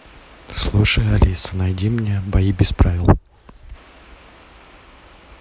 слушай алиса найди мне бои без правил